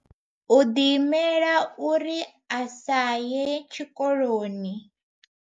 U ḓi imelela uri a sa ye tshikoloni.